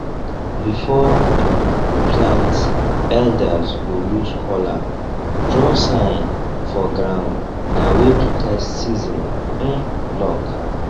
before um we plant elders go use kola draw sign for ground na way to test season um luck